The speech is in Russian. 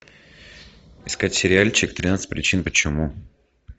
искать сериальчик тринадцать причин почему